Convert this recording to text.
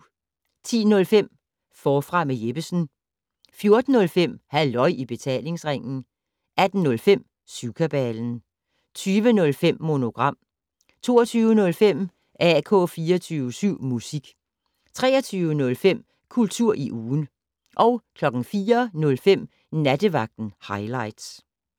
10:05: Forfra med Jeppesen 14:05: Halløj i Betalingsringen 18:05: Syvkabalen 20:05: Monogram 22:05: AK 24syv Musik 23:05: Kultur i ugen 04:05: Nattevagten Highligts